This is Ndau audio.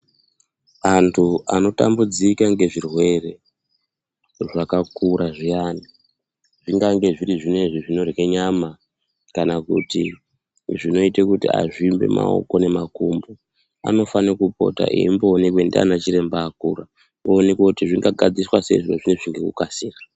Antu anotambudzika ngezvirwere zvakakura zviyani zvingange zviri zvinezvi zvinorye nyama kana kuti zvinoite kuti azvimbe kana makumbo unofane kupota eimboonekwe ndiana chiremba akura oonekwe kuti zvinga gadziriswa sei zviro zvozvo ngekukasira.